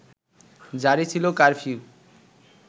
জারি ছিল কারফিউ